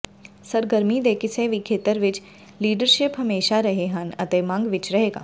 ਸਰਗਰਮੀ ਦੇ ਕਿਸੇ ਵੀ ਖੇਤਰ ਵਿਚ ਲੀਡਰਸ਼ਿਪ ਹਮੇਸ਼ਾ ਰਹੇ ਹਨ ਅਤੇ ਮੰਗ ਵਿਚ ਰਹੇਗਾ